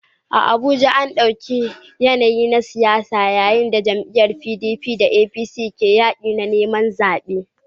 A Abuja, an ɗau yanayi na siyasa yayin da jam'iyyun PDP da APC ke yaƙin neman zaɓe